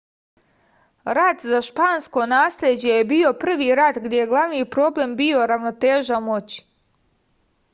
rat za špansko nasleđe je bio prvi rat gde je glavni problem bio ravnoteža moći